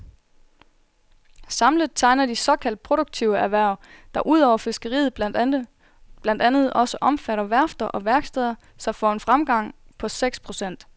Samlet tegner de såkaldt produktive erhverv, der udover fiskeriet blandt andet også omfatter værfter og værksteder, sig for en fremgang på seks procent.